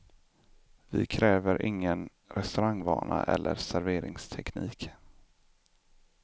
Vi kräver ingen restaurangvana eller serveringsteknik.